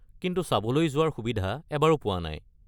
কিন্তু চাবলৈ যোৱাৰ সুবিধা এবাৰো পোৱা নাই।